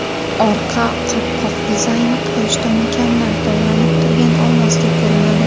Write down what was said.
Orqa qopqoq dizayni quyoshda mukammal tovlanib turgan olmosdek ko‘rinadi.